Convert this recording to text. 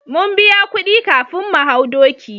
Mun biya kudi kafin mu hau doki